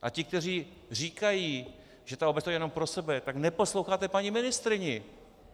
A ti, kteří říkají, že ta obec to chce jenom pro sebe, tak neposloucháte paní ministryni.